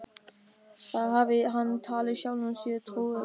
Það hafði hann talið sjálfum sér trú um.